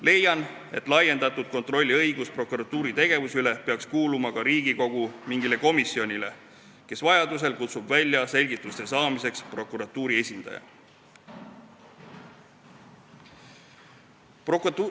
Leian, et laiendatud kontrolliõigus prokuratuuri tegevuse üle peaks kuuluma ka Riigikogu mingile komisjonile, kes vajadusel saaks selgituste saamiseks kutsuda prokuratuuri esindaja välja.